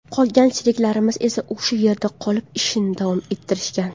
Qolgan sheriklarimiz esa o‘sha yerda qolib, ishni davom ettirishgan.